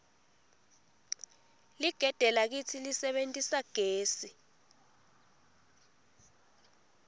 ligede lakitsi lisebentisa gesi